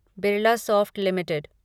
Birlasoft limited